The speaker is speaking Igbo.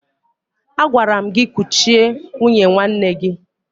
Agwara m gị kuchie nwunye nwanne gị!